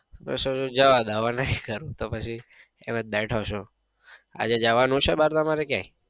બસ હવે જવા દો હવે નઈ કરવું તો પછી એમ જ બેઠો છું. આજે જવાનું છે બાર તમારે ક્યાંય?